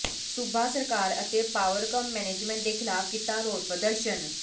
ਸੂਬਾ ਸਰਕਾਰ ਅਤੇ ਪਾਵਰਕਾਮ ਮੈਨੇਜਮੈਂਟ ਦੇ ਖ਼ਿਲਾਫ਼ ਕੀਤਾ ਰੋਸ ਪ੍ਰਦਰਸ਼ਨ